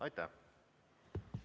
Aitäh!